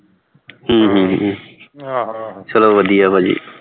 ਹਮ ਚਲੋ ਵਧੀਆ ਭਾਜੀ